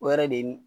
O yɛrɛ de ye